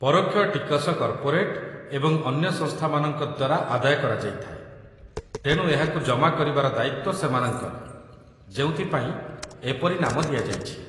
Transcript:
ପରୋକ୍ଷ ଟିକସ କର୍ପୋରେଟ୍‌ ଏବଂ ଅନ୍ୟ ସଂସ୍ଥାମାନଙ୍କ ଦ୍ୱାରା ଆଦାୟ କରାଯାଇଥାଏ, ତେଣୁ ଏହାକୁ ଜମା କରିବାର ଦାୟିତ୍ୱ ସେମାନଙ୍କର, ଯେଉଁଥିପାଇଁ ଏପରି ନାମ ଦିଆଯାଇଛି